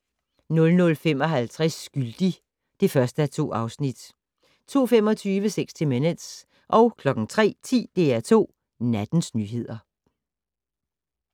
00:55: Skyldig (1:2) 02:25: 60 Minutes 03:10: DR2 Nattens nyheder